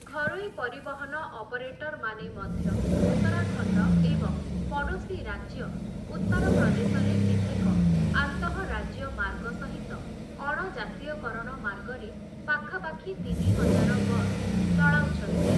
ଘରୋଇ ପରିବହନ ଅପରେଟର୍‌ମାନେ ମଧ୍ୟ, ଉତ୍ତରାଖଣ୍ଡ ଏବଂ ପଡ଼ୋଶୀ ରାଜ୍ୟ ଉତ୍ତରପ୍ରଦେଶରେ କେତେକ ଆନ୍ତଃରାଜ୍ୟ ମାର୍ଗ ସହିତ, ଅଣ-ଜାତୀୟକରଣ ମାର୍ଗରେ ପାଖାପାଖି ତିନି ହଜାର ବସ୍ ଚଳାଉଛନ୍ତି ।